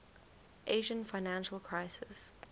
asian financial crisis